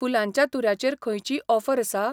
फुुलांच्या तुऱ्या चेर खंयचीय ऑफर आसा ?